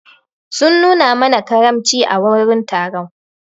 Sun mana karamci a wurin taron.